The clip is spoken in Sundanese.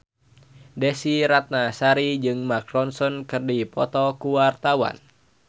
Desy Ratnasari jeung Mark Ronson keur dipoto ku wartawan